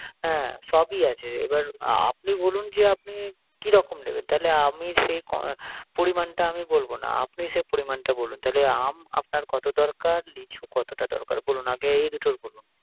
হ্যা সবই আছে। এবার আপনি বলুন, যে আপনি কি রকম নিবেন, তাইলে আমি সেই পরিমাণটা বলব না আপনি সেই পরিমাণটা বলুন, তাইলে আম আপনারকত দরকার, লিচু কতটা দরকার